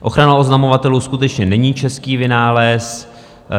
Ochrana oznamovatelů skutečně není český vynález.